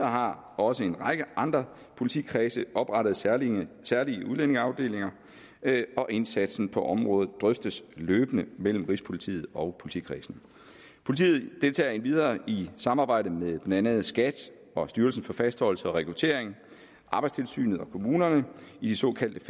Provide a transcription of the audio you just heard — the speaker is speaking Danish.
har også en række andre politikredse oprettet særlige særlige udlændingeafdelinger og indsatsen på området drøftes løbende mellem rigspolitiet og politikredsene politiet deltager endvidere i samarbejde med blandt andet skat og styrelsen for fastholdelse og rekruttering arbejdstilsynet og kommunerne i de såkaldte